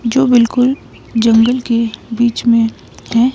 जो बिल्कुल जंगल के बीच में है।